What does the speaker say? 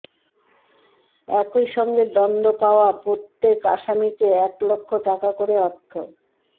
একই সঙ্গে দণ্ড পাওয়া প্রতে৵ক আসামিকে এক লাখ টাকা করে অর্থ